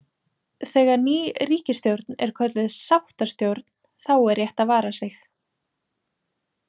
Þegar ný ríkisstjórn er kölluð „sáttastjórn“ , þá er rétt að vara sig.